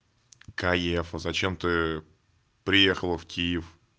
каефу зачем ты приехала в киев